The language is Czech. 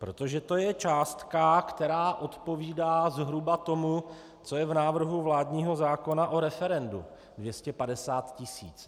Protože to je částka, která odpovídá zhruba tomu, co je v návrhu vládního zákona o referendu - 250 tis.